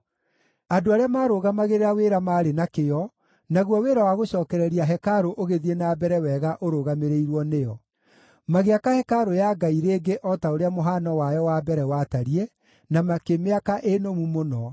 Andũ arĩa maarũgamagĩrĩra wĩra maarĩ na kĩyo, naguo wĩra wa gũcookereria hekarũ ũgĩthiĩ na mbere wega ũrũgamĩrĩirwo nĩo. Magĩaka hekarũ ya Ngai rĩngĩ o ta ũrĩa mũhano wayo wa mbere watariĩ, na makĩmĩaka ĩ nũmu mũno.